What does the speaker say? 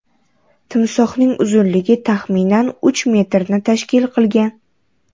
Timsohning uzunligi, taxminan, uch metrni tashkil qilgan.